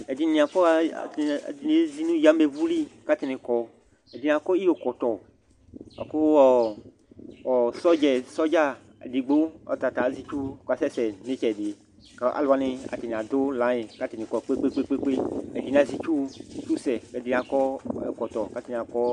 Ɛdɩnɩ afɔɣa, ɛdɩnɩ ezi nʋ ayamewu li kʋ atanɩ kɔ Ɛdɩnɩ akɔ iyokɔtɔ bʋa kʋ ɔ ɔ sɔdza, sɔdza edigbo, ɔta ta azɛ itsu kʋ ɔkasɛsɛ nʋ ɩtsɛdɩ kʋ alʋ wanɩ atanɩ adʋ layɩn kʋ atanɩ kɔ kpe-kpe-kpe Ɛdɩnɩ azɛ itsusɛ kʋ ɛdɩnɩ akɔ ɛkɔtɔ kʋ atanɩ kɔ